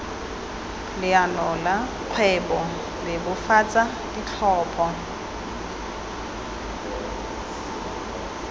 leano la kgwebo bebofatsa ditlhopho